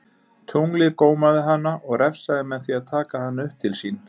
Tunglið gómaði hana og refsaði með því að taka hana upp til sín.